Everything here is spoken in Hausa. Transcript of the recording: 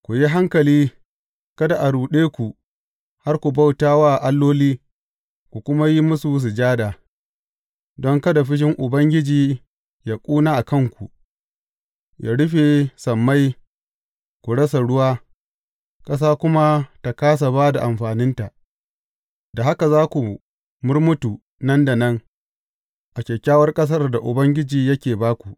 Ku yi hankali, kada a ruɗe ku har ku bauta wa alloli, ku kuma yi musu sujada, don kada fushin Ubangiji yă ƙuna a kanku, yă rufe sammai, ku rasa ruwa, ƙasa kuma ta kāsa ba da amfaninta, da haka za ku murmutu nan da nan a kyakkyawar ƙasar da Ubangiji yake ba ku.